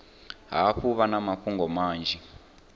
hafhu vha na mafhungo manzhi